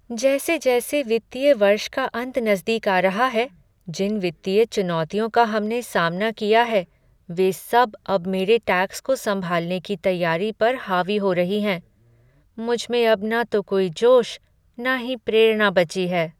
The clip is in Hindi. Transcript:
जैसे जैसे वित्तीय वर्ष का अंत नज़दीक आ रहा है, जिन वित्तीय चुनौतियों का हमने सामना किया है, वे सब अब मेरी टैक्स को सँभालने की तैयारी पर हावी हो रही हैं। मुझमें अब न तो कोई जोश न ही प्रेरणा बची है।